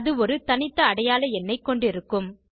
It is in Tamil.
அது ஒரு தனித்த அடையாள எண்ணைக் கொண்டிருக்கும்